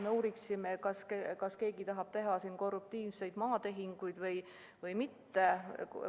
Me ei uuri, kas keegi tahab teha korruptiivseid maatehinguid või mitte.